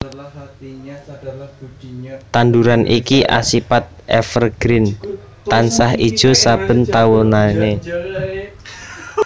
Tanduran iki asipat evergreen tansah ijo saben taune